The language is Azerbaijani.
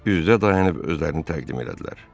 Üz-üzə dayanıb özlərini təqdim elədilər.